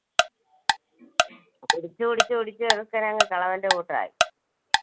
കുടിച്ച്, കുടിച്ച്, കുടിച്ച് ചെറുക്കൻ അങ്ങ് കിളവന്റെ കൂട്ടായി.